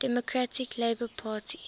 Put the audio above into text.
democratic labour party